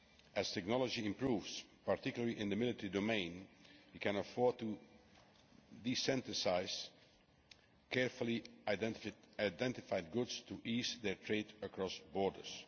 As technology improves, particularly in the military domain, we can afford to desensitise carefully identified goods to ease their trade across borders.